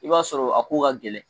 I b'a sɔrɔ a ko ka gɛlɛn